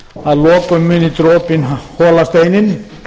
að lokum muni dropinn hola steininn